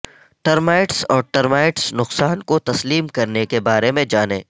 termites اور termites نقصان کو تسلیم کرنے کے بارے میں جانیں